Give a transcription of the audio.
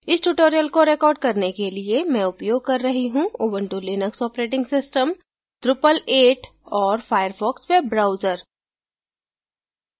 इस tutorial को record करने के लिए मैं उपयोग कर रही हूँ Ubuntu Linux operating system drupal 8 और firefox वेब ब्राउजर